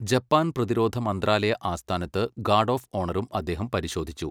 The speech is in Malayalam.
ജപ്പാൻ പ്രതിരോധ മന്ത്രാലയ ആസ്ഥാനത്ത് ഗാർഡ് ഓഫ് ഓണറും അദ്ദേഹം പരിശോധിച്ചു.